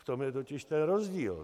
V tom je totiž ten rozdíl.